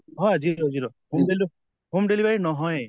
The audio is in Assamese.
হয় zero zero home home delivery নহয়ে।